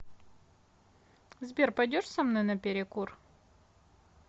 сбер пойдешь со мной на перекур